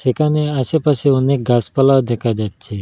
এখানে আশেপাশে অনেক গাসপালাও দেখা যাচ্ছে।